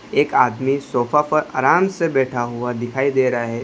एक आदमी सोफा पर आराम से बैठा हुआ दिखाई रहा है।